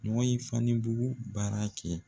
sanibugu baara kɛ